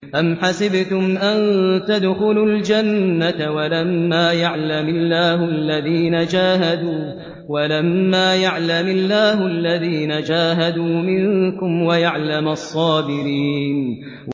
أَمْ حَسِبْتُمْ أَن تَدْخُلُوا الْجَنَّةَ وَلَمَّا يَعْلَمِ اللَّهُ الَّذِينَ جَاهَدُوا مِنكُمْ وَيَعْلَمَ الصَّابِرِينَ